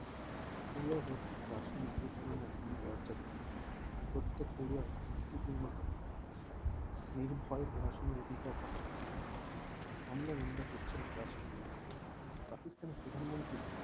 পূর্ব ভর্তি গাজনে এ ধরনের হামলা লজ্জাজনক প্রত্যেক পোড়ো আই শান্তিপূর্ণ ভাবে নির্ভয়ে পড়াশোনা থাকার অধিকার থাকা উচিত আমরা নিম্ন পশ্চিম রাষ্ট্র কূল কে প্রাতিষ্ঠানিক প্রধানমন্ত্রী